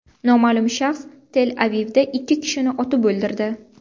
Noma’lum shaxs Tel-Avivda ikki kishini otib o‘ldirdi.